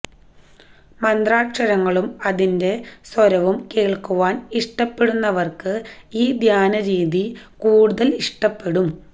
മന്ത്രാക്ഷരങ്ങളും അതിന്റെ സ്വരവും കേള്ക്കുവാന് ഇഷ്ടപ്പെടുന്നവര്ക്ക് ഈ ധ്യാന രീതി കൂടുതല് ഇഷ്ടപ്പെടും